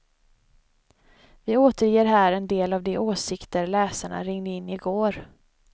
Vi återger här en del av de åsikter läsarna ringde in igår.